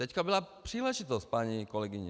Teď byla příležitost, paní kolegyně.